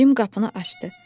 Cim qapını açdı,